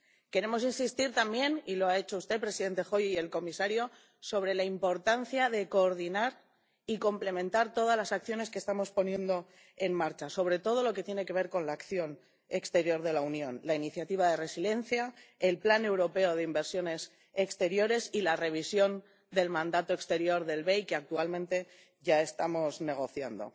Queremos insistir también, y lo ha hecho usted presidente Hoyer y el comisario, en la importancia de coordinar y complementar todas las acciones que estamos poniendo en marcha, sobre todo lo que tiene que ver con la acción exterior de la Unión la iniciativa de resiliencia, el plan europeo de inversiones exteriores y la revisión del mandato exterior del BEI, que actualmente ya estamos negociando.